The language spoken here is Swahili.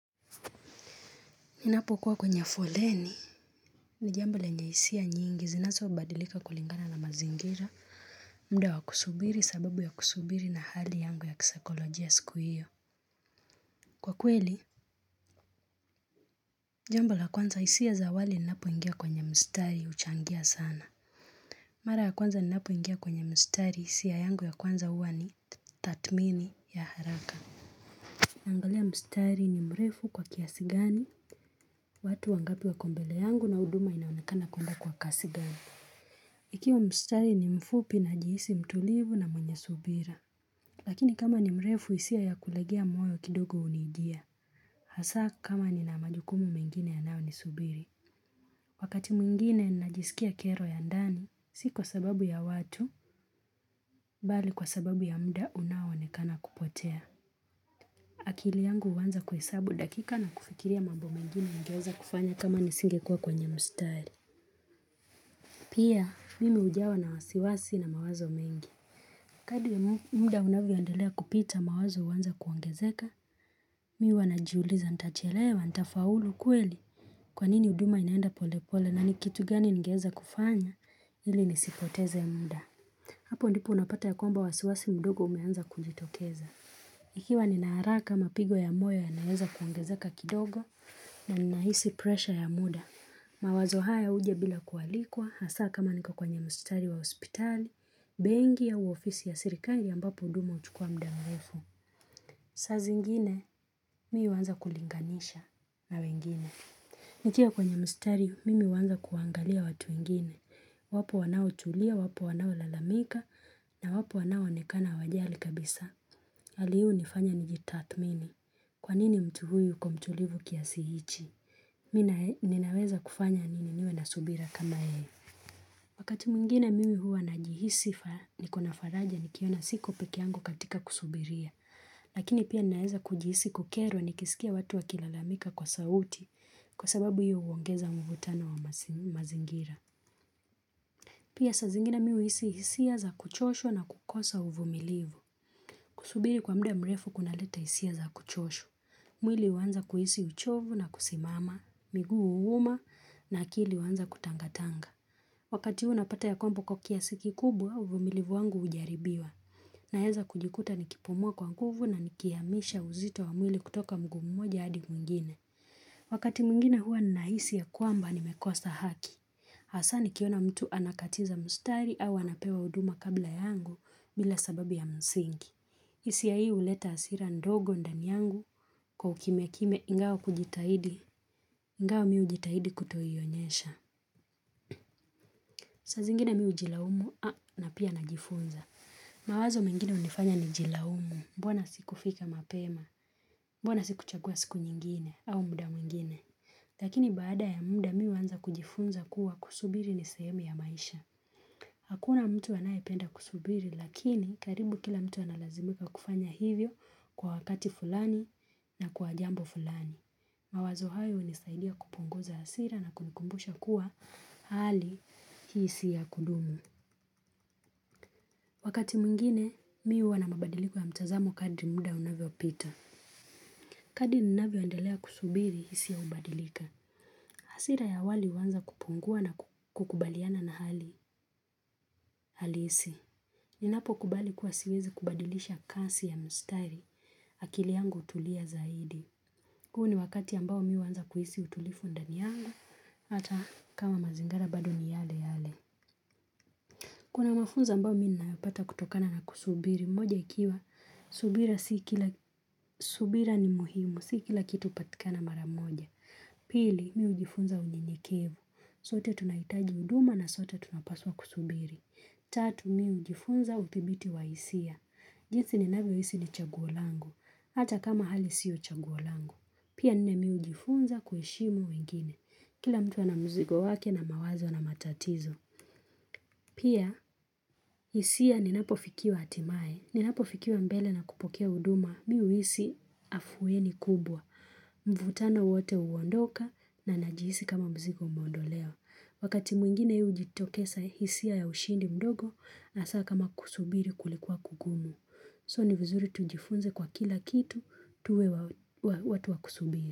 Ninapokuwa kwenye foleni. Ni jambo lenye hisia nyingi zinazobadilika kulingana na mazingira. Mda wa kusubiri sababu ya kusubiri na hali yangu ya kisaikolojiya siku hiyo. Kwa kweli, jambo la kwanza hisia za awali ninapoingia kwenye mstari huchangia sana. Mara ya kwanza ninapoingia kwenye mstari hisia yangu ya kwanza huwa ni tathmini ya haraka. Naangalia mstari ni mrefu kwa kiasi gani. Watu wangapi wako mbele yangu na huduma inaonekana kuenda kwa kasi gani. Ikiwa mstari ni mfupi najihisi mtulivu na mwenye subira. Lakini kama ni mrefu hisia ya kulegea moyo kidogo unijia. Hasa kama nina majukumu mengine yanao ni subiri. Wakati mwingine najisikia kero ya ndani, si kwa sababu ya watu, bali kwa sababu ya mda unaoonekana kupotea. Akili yangu huanza kuhesabu dakika na kufikiria mambo mengine ningeweza kufanya kama nisingekua kwenye mstari. Pia, mimi ujawa na wasiwasi na mawazo mengi. Kadi ya muda unavyoendelea kupita mawazo huanza kuongezeka, mi huwa najiuliza, nitachelewa, nitafaulu, kweli, kwa nini huduma inaenda pole pole na ni kitu gani ningeweza kufanya ili nisipoteze ya muda. Hapo ndipo unapata ya kwamba wasiwasi mdogo umeanza kujitokeza. Ikiwa nina haraka mapigo ya moyo yanaweza kuongezaka kidogo na ninahisi presha ya muda. Mawazo haya uja bila kualikwa hasa kama niko kwenye mstari wa hospitali, bengi au ofisi ya sirikali ambapo huduma huchukua mda mlefu. Saa zingine mii huanza kulinganisha na wengine. Nikiwa kwenye mstari, mimi huanza kuangalia watu wengine. Wapo wanao tulia, wapo wanao lalamika na wapo wanao onekana wajali kabisa. Hali huu unifanya nijitathmini. Kwa nini mtu huyu kuwa mtulivu kiasi hichi? Mi ninaweza kufanya nini niwe na subira kama yeye. Wakati mwingine mimi hua najihisifa ni kuna faraja nikiona siko pekeangu katika kusubiria. Lakini pia naeza kujihisi kukerwa nikisikia watu wakilalamika kwa sauti kwa sababu hio huongeza mvutano wa mazingira. Pia sa zingine mi uhisi hisia za kuchoshwa na kukosa uvumilivu. Kusubiri kwa mda mrefu kunaleta hisia za kuchosha. Mwili huanza kuhisi uchovu na kusimama, migua huuma na akili huanza kutangatanga. Wakati huo unapata ya kwamba kwa kiasi kikubwa, uvumilivu wangu ujaribiwa. Naeza kujikuta nikipumuwa kwa nguvu na nikiamisha uzito wa mwili kutoka mguu moja adi mwingine. Wakati mwingine huwa ninahisi ya kuamba nimekosa haki. Hasaa nikiona mtu anakatiza mustari au anapewa huduma kabla yangu bila sababu ya msingi. Hisia hii uleta asira ndogo ndani yangu kwa ukimya kimya ingawa mi hujitahidi kutoionyesha saa zingine mi hujilaumu na pia najifunza mawazo mengine hunifanya nijilaumu mbona sikufika mapema mbona sikuchagua siku nyingine au mda mwingine Lakini baada ya mda mi huanza kujifunza kuwa kusubiri ni sehemu ya maisha Hakuna mtu anayependa kusubiri lakini karibu kila mtu analazimika kufanya hivyo kwa wakati fulani na kwa jambo fulani. Mawazo hayo hunisaidia kupunguza asira na kunikumbusha kuwa hali hii si ya kudumu. Wakati mwingine mi huwa na mabadiliko ya mtazamo kadri muda unavyopita. Hadi ninavyoendelea kusubiri hisia hubadilika. Asira ya awali huanza kupungua na kukubaliana na hali halisi. Ninapokubali kuwa siwezi kubadilisha kasi ya mstari, akili yangu hutulia zaidi. Huu ni wakati ambao mi huanza kuhisi utulifu ndani yangu, hata kama mazingara bado ni yale yale. Kuna mafunzo ambayo mi ninayapata kutokana na kusubiri, moja ikiwa, subira ni muhimu, si kila kitu hupatikana mara moja. Pili, mi hujifunza unyenyekevu, sote tunaitaji huduma na sote tunapaswa kusubiri. Tatu mi hujifunza uthibiti wa hisia. Jinsi ninavyo hisi ni chaguo langu. Hata kama hali sio chaguo langu. Pia nne mi hujifunza kuheshimu wengine. Kila mtu ana mzigo wake na mawazo na matatizo. Pia hisia ninapofikiwa hatimae. Ninapofikiwa mbele na kupokea huduma. Mi huisi afuweni kubwa. Mvutano wote huondoka na najihisi kama mzigo umeondolewa. Wakati mwingine ujitokesa hisia ya ushindi mdogo. Hasaa kama kusubiri kulikuwa kugumu So ni vizuri tujifunze kwa kila kitu tuwe watu wa kusubiri.